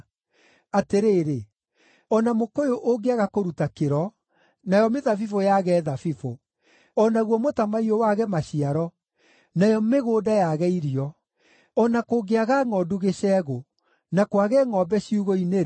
Atĩrĩrĩ, o na mũkũyũ ũngĩaga kũruta kĩro, nayo mĩthabibũ yaage thabibũ, o naguo mũtamaiyũ wage maciaro, nayo mĩgũnda yaage irio; o na kũngĩaga ngʼondu gĩcegũ na kwage ngʼombe ciugũ-inĩ-rĩ,